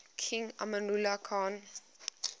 king amanullah khan